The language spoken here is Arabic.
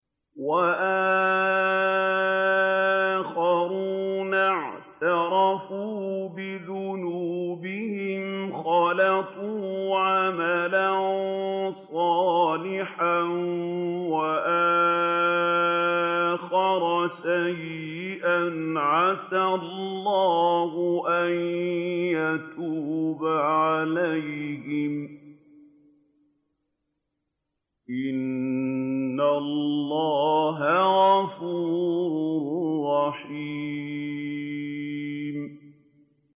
وَآخَرُونَ اعْتَرَفُوا بِذُنُوبِهِمْ خَلَطُوا عَمَلًا صَالِحًا وَآخَرَ سَيِّئًا عَسَى اللَّهُ أَن يَتُوبَ عَلَيْهِمْ ۚ إِنَّ اللَّهَ غَفُورٌ رَّحِيمٌ